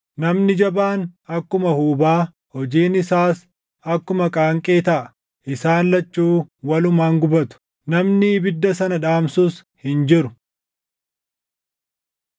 Namni jabaan akkuma huubaa, hojiin isaas akkuma qaanqee taʼa; isaan lachuu walumaan gubatu; namni ibidda sana dhaamsus hin jiru.”